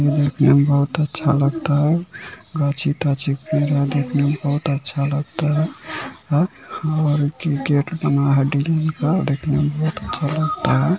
ये देखने में बहुत अच्छा लगता है देखने में बहुत अच्छा लगता है गेट बना है देखने में बहुत अच्छा लगता है।